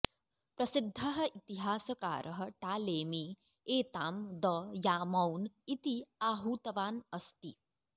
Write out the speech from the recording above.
प्रसिद्धः इतिहासकारः टालेमी एतां द् यामौन् इति आहूतवान् अस्ति